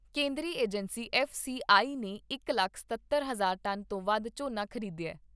ਕੇਂਦਰੀ agency F C I ਨੇ ਇਕ ਲੱਖ ਸਤੱਤਰ ਹਜ਼ਾਰ ਟਨ ਤੋਂ ਵੱਧ ਝੋਨਾ ਖ਼ਰੀਦਿਆ ।